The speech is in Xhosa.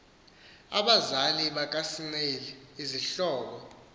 abazali bakasnail izihlobo